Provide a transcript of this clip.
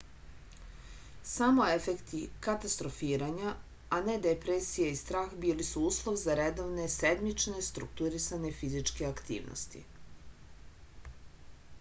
samo efekti katastrofiranja a ne depresija i strah bili su uslov za redovne sedmične strukturisane fizičke aktivnosti